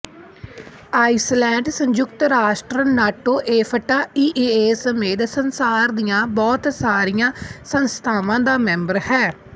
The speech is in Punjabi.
ਆਈਸਲੈਂਡ ਸੰਯੁਕਤ ਰਾਸ਼ਟਰ ਨਾਟੋ ਏਫ਼ਟਾ ਈਈਏ ਸਮੇਤ ਸੰਸਾਰ ਦੀਆਂ ਬਹੁਤ ਸਾਰੀਆਂ ਸੰਸਥਾਵਾਂ ਦਾ ਮੈਂਬਰ ਹੈ